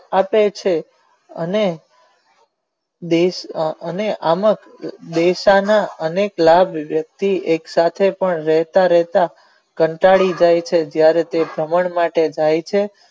આપે છે અને અને અનેક એક સાથે વહેતા રહેતા કંટાળી જાય છે જયારે કોઈ વમન માટે જાય છે.